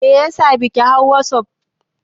Meyasa baki hawa wasuf?